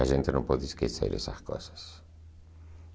A gente não pode esquecer essas coisas.